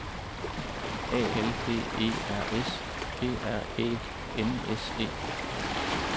A L D E R S G R Æ N S E